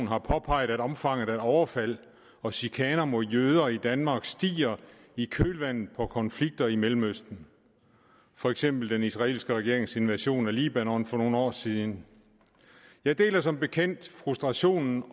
har påpeget at omfanget af overfald og chikaner mod jøder i danmark stiger i kølvandet på konflikter i mellemøsten for eksempel den israelske regerings invasion af libanon for nogle år siden jeg deler som bekendt frustrationen